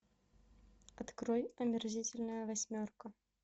открой омерзительная восьмерка